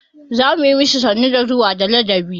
Za mu yi ma shi sannu da zuwa da ladabi.